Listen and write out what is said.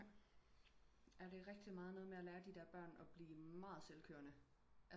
Ja det er rigtig meget noget med at lære de der børn at blive meget selvkørende